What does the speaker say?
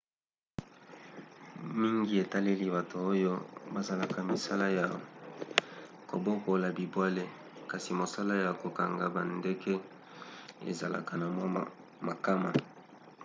mingi etaleli bato oyo basalaka misala ya kobokola bibwele kasi mosala ya kokanga bandeke ezalaka na mwa makama